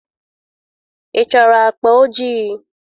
Ị chọrọ akpa ojii?